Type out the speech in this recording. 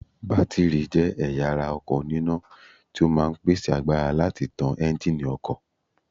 Bátìrì jẹ́ ẹ̀yà ara ọkọ̀ òní iná tí ó máa ń mi pèsè agbára láti tán Ẹ́ńjíìnì ọkọ̀